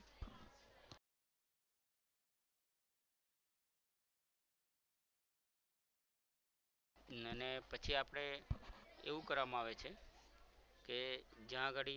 અને પછી આપણે એવું કરવામાં આવે છે કે જ્યાં ઘડી